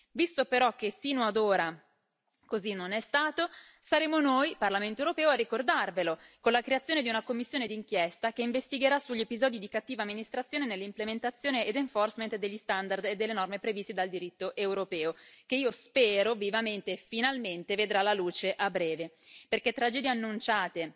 Visto, però, che sino ad ora così non è stato, saremo noi Parlamento europeo a ricordarvelo con la creazione di una commissione d'inchiesta che investigherà sugli episodi di cattiva amministrazione nell'implementazione ed enforcement degli standard e delle norme previste dal diritto europeo, che io spero vivamente e finalmente vedrà la luce a breve, perché tragedie annunciate,